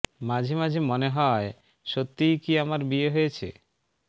মাঝে মাঝে মনে হয় সত্যিই কি আমার বিয়ে হয়েছে